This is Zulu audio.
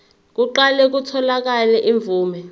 kuqale kutholakale imvume